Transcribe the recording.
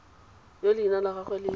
yo leina la gagwe le